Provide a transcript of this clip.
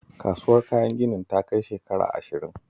Kasuwar kayan ginin ta kai shekara ashirin